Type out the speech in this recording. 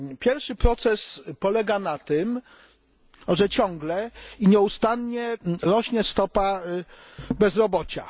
Pierwszy proces polega na tym, że ciągle i nieustannie rośnie stopa bezrobocia.